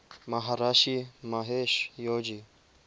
maharishi mahesh yogi